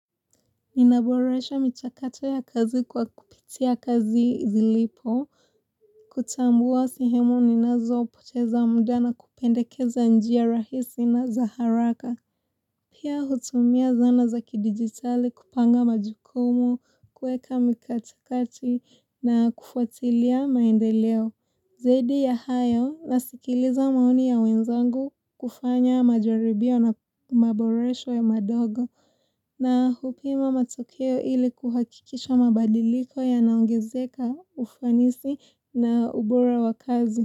Nina boresha michakato ya kazi kwa kupitia kazi zilipo. Kutambua sehemu ninazo poteza muda na kupendekeza njia rahisi na za haraka. Pia hutumia zana za kidigitali kupanga majukumu, kueka mikatakati na kufuatilia maendeleo. Zaidi ya hayo nasikiliza maoni ya wenzangu kufanya majaribio na maboresho ya madogo. Na hupima matokeo ili kuhakikisha mabadiliko yanaongezeka ufanisi na ubora wa kazi.